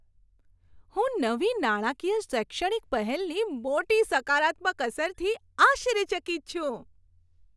હું નવી નાણાકીય શૈક્ષણિક પહેલની મોટી સકારાત્મક અસરથી આશ્ચર્યચકિત છું.